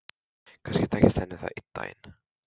Kannski tækist henni það einn daginn.